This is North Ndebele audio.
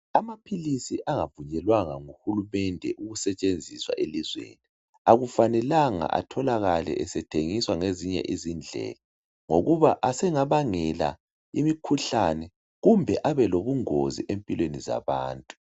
Amaphilisi angavunyelwanga nguhulumede ukusetshenziswa elizweni akufanelanga etholakale esethengiswa ngezinye izindlela ngokuba asengabangela imikhuhlane kumbe abelobungozi empilweni zabantu.